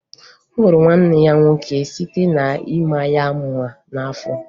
O gburu nwanne ya nwoke site na-ịma ya mma n'afọ